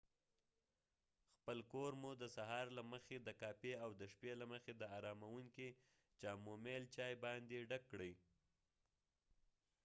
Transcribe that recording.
خپل کور مو د سهار له مخې د کافي او د شپې له مخې د آرامونکي چامومیل چاي باندې ډک کړئ